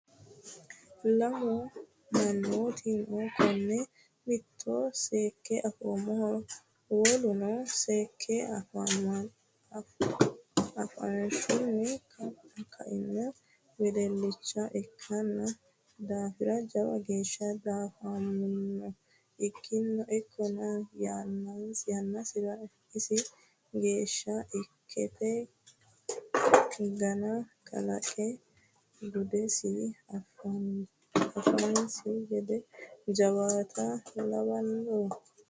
Lamu mannoti no kone mitto seekke afoommoho woluno seekke afanosiho ku"uno wedelicha ikkino daafira jawa geeshsha diafamino ikkininna yannasira isi geeshshiha ikkate gana kalqe gudise affanosi gede jawaatta lawanoe.